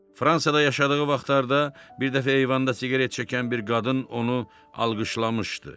Fransada yaşadığı vaxtlarda bir dəfə eyvanda siqaret çəkən bir qadın onu alqışlamışdı.